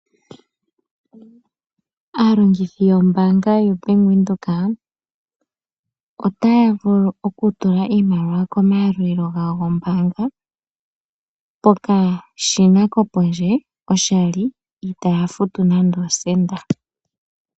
Aalongithi yombaanga yo Bank Windhoek otaya vulu okutula iimaliwa yawo komayalulilo gawo gombaanga pokashina kopondje oshali itaya futu nande osha osenda.